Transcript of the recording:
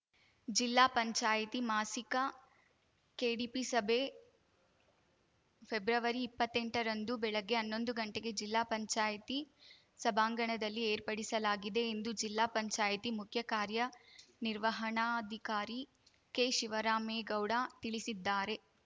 ಜಿಲ್ಲಾ ಪಂಚಾಯಿತಿ ಮಾಸಿಕ ಕೆಡಿಪಿ ಸಭೆ ಫೆಬ್ರವರಿಇಪ್ಪತ್ತೆಂಟರಂದು ಬೆಳಗ್ಗೆ ಹನ್ನೊಂದು ಗಂಟೆಗೆ ಜಿಲ್ಲಾ ಪಂಚಾಯಿತಿ ಸಭಾಂಗಣದಲ್ಲಿ ಏರ್ಪಡಿಸಲಾಗಿದೆ ಎಂದು ಜಿಲ್ಲಾ ಪಂಚಾಯಿತಿ ಮುಖ್ಯ ಕಾರ್ಯನಿರ್ವಹಣಾಧಿಕಾರಿ ಕೆ ಶಿವರಾಮೇಗೌಡ ತಿಳಿಸಿದ್ದಾರೆ